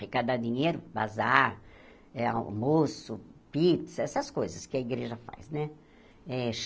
Arecadar dinheiro, bazar, eh almoço, pizza, essas coisas que a igreja faz, né?